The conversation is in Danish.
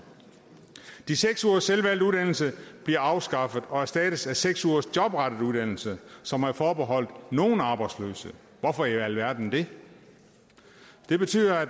de seks ugers selvvalgt uddannelse bliver afskaffet og erstattes af seks ugers jobrettet uddannelse som er forbeholdt nogle arbejdsløse hvorfor i alverden det det betyder at